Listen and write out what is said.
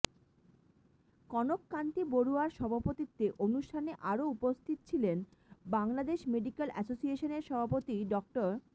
কনক কান্তি বড়ুয়ার সভাপতিত্বে অনুষ্ঠানে আরও উপস্থিত ছিলেন বাংলাদেশ মেডিক্যাল অ্যাসোসিয়েশনের সভাপতি ডা